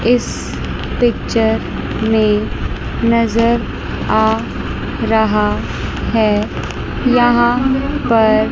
इस पिक्चर में नज़र आ रहा है यहां पर--